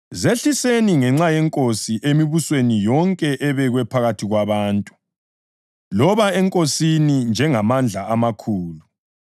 Zehliseni ngenxa yeNkosi emibusweni yonke ebekwe phakathi kwabantu: loba enkosini, njengamandla amakhulu,